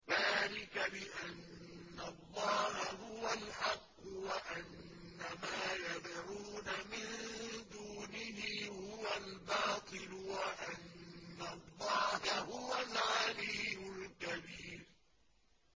ذَٰلِكَ بِأَنَّ اللَّهَ هُوَ الْحَقُّ وَأَنَّ مَا يَدْعُونَ مِن دُونِهِ هُوَ الْبَاطِلُ وَأَنَّ اللَّهَ هُوَ الْعَلِيُّ الْكَبِيرُ